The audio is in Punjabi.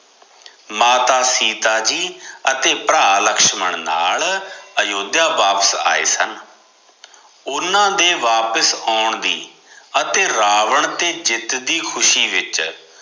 ਮਾਤਾ ਸੀਤਾ ਜੀ ਅਤੇ ਭਰਾ ਲਛਮਣ ਨਾਲ ਅਯੋਧਿਆ ਵਾਪਿਸ ਆਏ ਸਨ ਓਹਨਾ ਦੇ ਵਾਪਿਸ ਆਉਣ ਦੀ ਅਤੇ ਰਾਵਣ ਤੇ ਜਿੱਤ ਦੀ ਖੁਸ਼ੀ ਵਿਚ